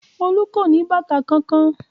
Olú kò ní bàtà kankan.